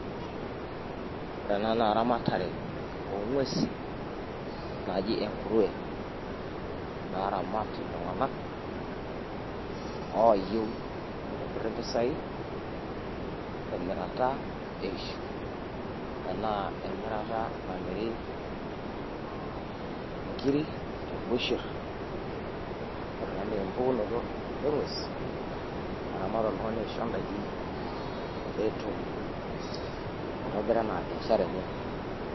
Woore enaa naa eramatare onguesi naji enkuruwe naramat itlunganak oyieuu nitobirr mpisaii temirata eishiuu, namirii nkiri tebusher woore enaa naa empukunoto engues naramat oltungani aishoo ndaiki peyiee petum aitobira enaa biashara enye